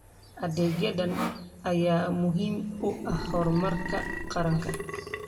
Adeegyadan ayaa muhiim u ah horumarka qaranka.